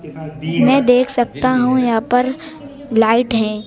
मैं देख सकता हूं यहां पर लाइट है।